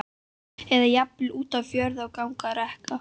eða jafnvel út á fjörur að ganga á reka.